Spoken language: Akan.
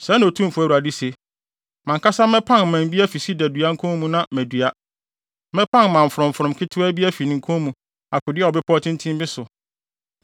“ ‘Sɛɛ na Otumfo Awurade se: Mʼankasa mɛpan mman afi sida dua no nkɔn mu na madua. Mɛpan mman frɔmfrɔm ketewaa bi afi ne nkɔn mu akodua wɔ bepɔw tenten bi so.